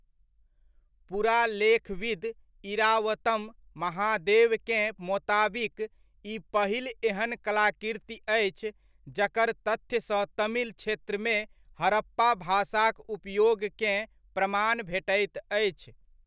पुरालेखविद इरावतम महादेवकेँ मोताबिक ई पहिल एहन कलाकृति अछि जकर तथ्यसँ तमिल क्षेत्रमे हड़प्पा भाषाक उपयोगकेँ प्रमाण भेटैत अछि।